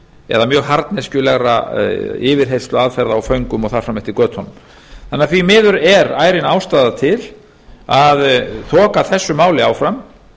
eða mjög harðneskjulegra yfirheyrsluaðferða á föngum og þar fram eftir götunum þannig að því miður er ærin ástæða til að þoka þessu máli áfram